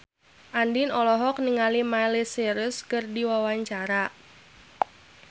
Andien olohok ningali Miley Cyrus keur diwawancara